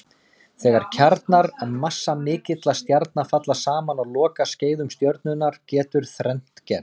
Þegar kjarnar massamikilla stjarna falla saman á lokaskeiðum stjörnunnar getur þrennt gerst.